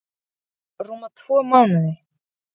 ÞORVALDUR: Rúma tvo mánuði.